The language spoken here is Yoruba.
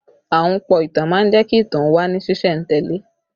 Ahunpọ̀ ìtàn má ń jẹ́ kí ìtàn ó wà ní sìsẹ̀ntele